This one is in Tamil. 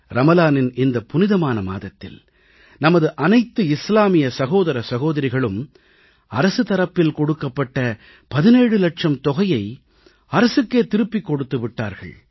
ரமலானின் இந்த புனிதமான மாதத்தில் நமது அனைத்து இஸ்லாமிய சகோதர சகோதரிகளும் அரசு தரப்பில் கொடுக்கப்பட்ட 17 லட்சம் தொகையை அரசுக்கே திருப்பிக் கொடுத்து விட்டார்கள்